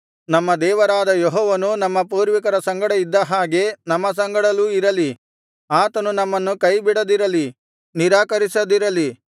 ನಮ್ಮ ದೇವರಾದ ಯೆಹೋವನು ನಮ್ಮ ಪೂರ್ವಿಕರ ಸಂಗಡ ಇದ್ದ ಹಾಗೆ ನಮ್ಮ ಸಂಗಡಲೂ ಇರಲಿ ಆತನು ನಮ್ಮನ್ನು ಕೈಬಿಡದಿರಲಿ ನಿರಾಕರಿಸದಿರಲಿ